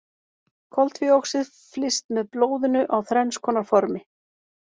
Koltvíoxíð flyst með blóðinu á þrenns konar formi.